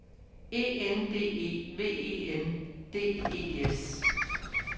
E N D E V E N D E S